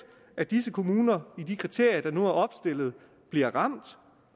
at disse kommuner i de kriterier der nu er opstillet bliver ramt